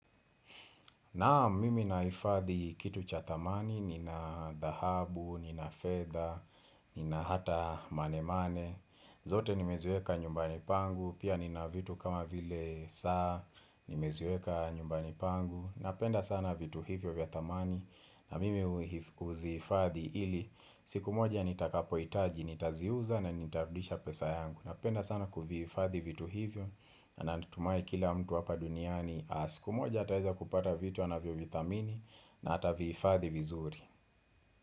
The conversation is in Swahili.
Naam mimi nahifadhi kitu cha dhamani, nina dhahabu, nina fedha, nina hata mane mane, zote nimeziweka nyumbani pangu, pia nina vitu kama vile saa, nimeziweka nyumbani pangu, napenda sana vitu hivyo vya dhamani, na mimi huzihifadhi ili, siku moja nitakapohitaji, nitaziuza na nitarudisha pesa yangu, napenda sana kuvihifadhi vitu hivyo, na natumai kila mtu hapa duniani, Kumoja ataeza kupata vitu anavyo vidhamini na ata vihifadhi vizuri.